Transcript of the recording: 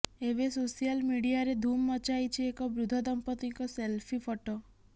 ଏବେ ସୋସିଆଲ ମିଡିଆରେ ଧୁମ୍ ମଚାଇଛି ଏକ ବୃଦ୍ଧ ଦମ୍ପତିଙ୍କ ସେଲ୍ଫି ଫଟୋ